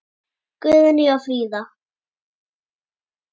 Guðný og Fríða.